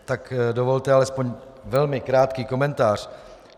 Tak dovolte alespoň velmi krátký komentář.